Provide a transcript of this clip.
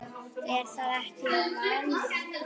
Er það ekki vaninn?